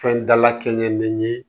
Fɛn dalakɛɲɛ bɛ ye